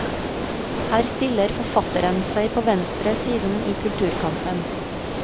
Her stiller forfatteren seg på venstre siden i kulturkampen.